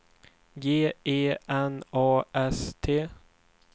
G E N A S T